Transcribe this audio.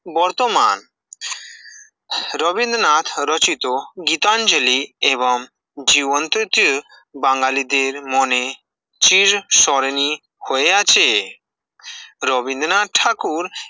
বর্তমান, রবীন্দ্রনাথ রচিত, গীতাঞ্জলি এবং জীবন তৃতীয় বাঙালিদের মনে চির সরণি হয়ে আছে, রবীন্দ্রনাথ ঠাকুর